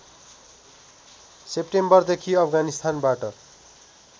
सेप्टेम्बरदेखि अफगानिस्तानबाट